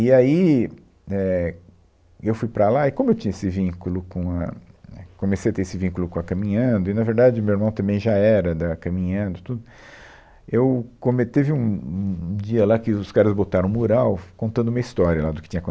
E aí, é, eu fui para lá, e como eu tinha esse vínculo com a, a, comecei a ter esse vínculo com a Caminhando, e, na verdade, o meu irmão também já era da Caminhando, e tudo, eu come, teve um um um dia lá que os caras botaram um mural contando a minha história lá do que tinha